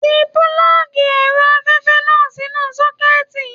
Tí pulọgi ẹrọ afẹfẹ náà sínú sọ̀kẹ̀ti.